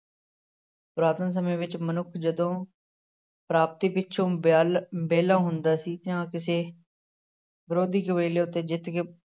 ਪੁਰਾਤਨ ਸਮੇਂ ਵਿੱਚ ਮਨੁੱਖ ਜਦੋਂ ਪ੍ਰਾਪਤੀ ਪਿੱਛੋਂ ਵਿਲ ਵਿਹਲਾ ਹੁੰਦਾ ਸੀ ਜਾਂ ਕਿਸੇ ਵਿਰੋਧੀ ਕਬੀਲੇ ਉੱਤੇ ਜਿੱਤ ਕੇ